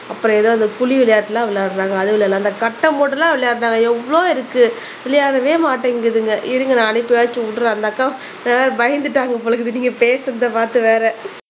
அப்புறம் ஏதோ அந்த புலி விளையாட்டெல்லாம் விளையாடுறாங்க அது விளையாடலாம் அந்த கட்டம் போட்டெல்லாம் விளையாடுனாங்க எவ்வளோ இருக்கு விளையாடவே மாட்டேங்குதுங்க இருங்க நான் அனுப்பியாச்சு விடுறேன். அந்த அக்கா பயந்துட்டாங்க போல இருக்குது நீங்க பேசுறதை பார்த்து வேற